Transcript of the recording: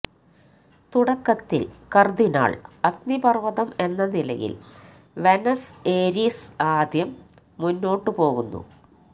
തുടക്കത്തിൽ കർദിനാൾ അഗ്നിപർവ്വതം എന്ന നിലയിൽ വെനസ് ഏരിസ് ആദ്യം മുന്നോട്ടുപോകുന്നു